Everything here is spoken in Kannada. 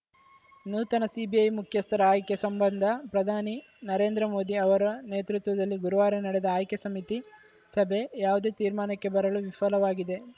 ನೂತನ ಸಿಬಿಐ ಮುಖ್ಯಸ್ಥರ ಆಯ್ಕೆ ಸಂಬಂಧ ಪ್ರಧಾನಿ ನರೇಂದ್ರ ಮೋದಿ ಅವರ ನೇತೃತ್ವದಲ್ಲಿ ಗುರುವಾರ ನಡೆದ ಆಯ್ಕೆ ಸಮಿತಿ ಸಭೆ ಯಾವುದೇ ತೀರ್ಮಾನಕ್ಕೆ ಬರಲು ವಿಫಲಾಗಿದೆ